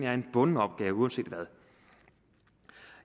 er en bunden opgave uanset hvad